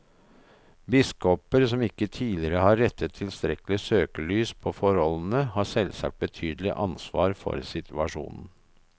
Biskoper som ikke tidligere har rettet tilstrekkelig søkelys på forholdene, har selvsagt betydelig ansvar for situasjonen.